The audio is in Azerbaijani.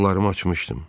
Qollarımı açmışdım.